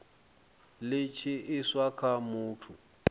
li tshi iswa kha muthu